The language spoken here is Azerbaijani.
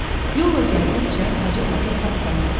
Yolla gəldikcə Hacı diqqətlə Aslana baxırdı.